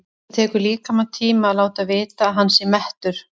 Það tekur líkamann tíma að láta vita að hann sé mettur.